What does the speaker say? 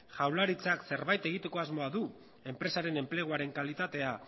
jaurlaritzak zerbait egiteko asmoa du enpresaren enpleguaren kalitatea